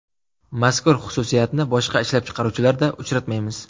Mazkur xususiyatni boshqa ishlab chiqaruvchilarda uchratmaymiz.